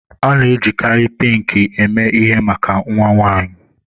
A na-ejikarị Pinki eme ihe maka nnwa nwaanyi.